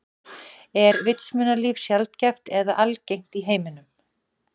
Er vitsmunalíf sjaldgæft eða algengt í alheiminum?